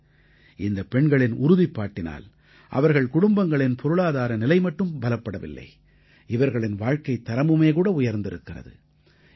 இன்று இந்தப் பெண்களின் உறுதிப்பாட்டினால் அவர்கள் குடும்பங்களின் பொருளாதார நிலை மட்டும் பலப்படவில்லை இவர்களின் வாழ்க்கைத் தரமுமே கூட உயர்ந்திருக்கிறது